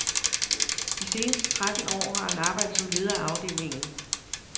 De seneste tretten år har han arbejdet som leder af afdelingen.